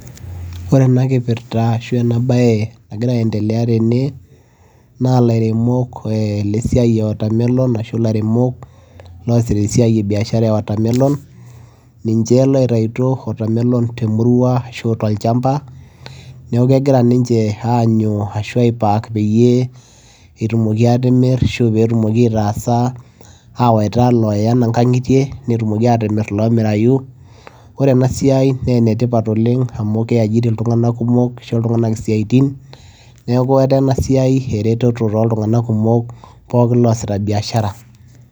ore ena kipirta ashu ena baye nagira aendeleya tene naa ilairemok eh lesiai e watermelon ashu ilairemok loosita esiai e biashara e watermelon ninche loitaituo watermelon temurua ashu tolchamba neeku kegira ninche aanyu ashu ae pack peyie etumoki atimirr ashu petumoki aitasa awaita iloya nkang'itie netumoki atimirr ilomirayu ore ena siai naa enetipat oleng amu kei ajiri iltung'anak kumok kisho iltung'anak isiatin neeku etaa ena siai ereteto toltung'anak kumok pooki loosita biashara.